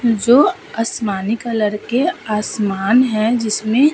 जो आसमानी कलर का आसमान है जिसमे --